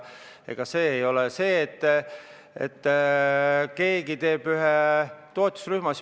Ega asi ei ole selles, et keegi teeb toetusrühma.